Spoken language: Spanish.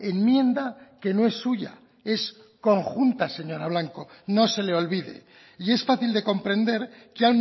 enmienda que no es suya es conjunta señora blanco no se le olvide y es fácil de comprender que